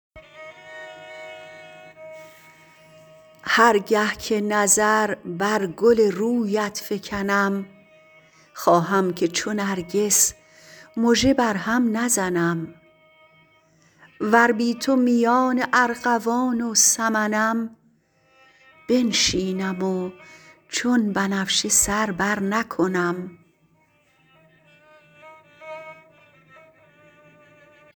هر گه که نظر بر گل رویت فکنم خواهم که چو نرگس مژه بر هم نزنم ور بی تو میان ارغوان و سمنم بنشینم و چون بنفشه سر برنکنم